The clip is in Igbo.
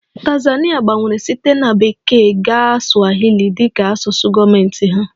Tanzania gbanwere site na Bekee gaa swahili dị ka asụsụ gọọmentị ha